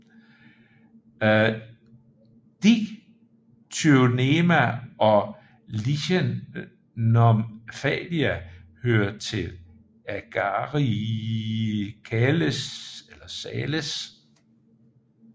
Dictyonema og Lichenomphalia hører til Agaricales